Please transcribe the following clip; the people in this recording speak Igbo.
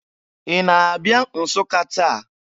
Ị na-abịa Nsụka taa?